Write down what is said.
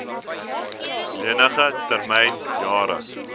lening termyn jare